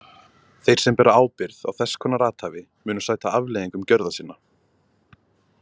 Þeir sem bera ábyrgð á þess konar athæfi munu sæta afleiðingum gjörða sinna.